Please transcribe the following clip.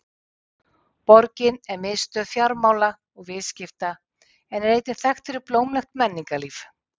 Borgin er miðstöð fjármála og viðskipta en er einnig þekkt fyrir blómlegt menningarlíf.